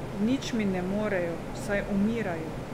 Nič mi ne morejo, saj umirajo.